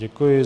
Děkuji.